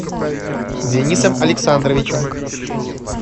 денисом александровичем